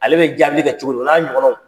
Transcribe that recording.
Ale be jaabili kɛ cogo min, o n'a ɲɔgɔnnaw